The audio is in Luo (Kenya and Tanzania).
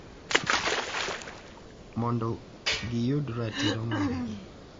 Mondo giyud ratiro margi